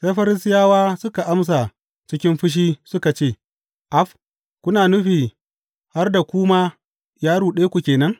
Sai Farisiyawa suka amsa cikin fushi suka ce, Af, kuna nufi har da ku ma ya ruɗe ku ke nan?